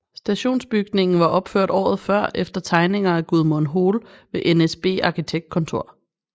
Stationsbygningen var opført året før efter tegninger af Gudmund Hoel ved NSB Arkitektkontor